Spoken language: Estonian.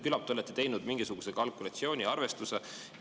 Küllap te olete teinud mingisuguse kalkulatsiooni, arvestuse.